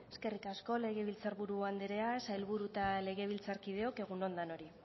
eskerrik asko legebiltzarburu andrea sailburu eta legebiltzarkideok egun on denoi